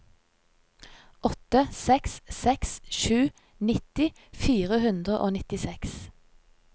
åtte seks seks sju nitti fire hundre og nittiseks